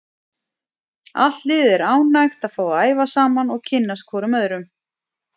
Allt liðið er ánægt að fá að æfa saman og kynnast hvorum öðrum.